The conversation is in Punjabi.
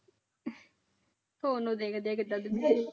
ਉਹਨੂੰ ਦੇਖ ਦੇਖ